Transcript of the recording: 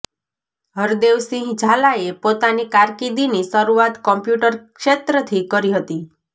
હરદેવસિંહ ઝાલાઍ પોતાની કારકિર્દિની શરુઆત કોમ્પ્યુટર ક્ષેત્રથી કરી હતી